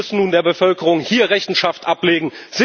Sie müssen nun der Bevölkerung hier Rechenschaft ablegen.